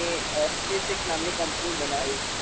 જેમને SpaceX નામની કંપની બનાવી.